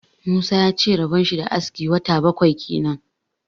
Musa ya ce rabon shi da aski wata bakwai kenan.